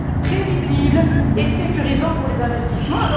prévisible et sécurisant pour les investissements.